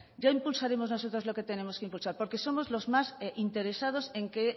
ya impulsaremos nosotros lo que tenemos que impulsar porque somos los más interesados en que